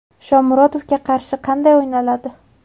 Shomurodovga qarshi qanday o‘ynaladi?